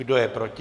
Kdo je proti?